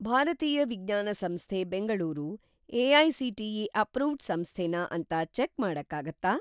ಭಾರತೀಯ ವಿಜ್ಞಾನ ಸಂಸ್ಥೆ ಬೆಂಗಳೂರು ಎ.ಐ.ಸಿ.ಟಿ.ಇ. ಅಪ್ರೂವ್ಡ್‌ ಸಂಸ್ಥೆನಾ ಅಂತ ಚೆಕ್‌ ಮಾಡಕ್ಕಾಗತ್ತಾ?